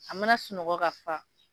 A mana sunɔgɔ ka fa